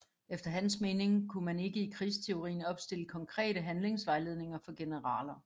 Efter hans mening kunne man ikke i krigsteorien opstille konkrete handlingsvejledninger for generaler